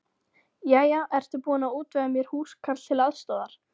Jæja, ertu búin að útvega mér húskarl til aðstoðar?